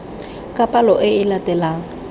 ka palo e e latelang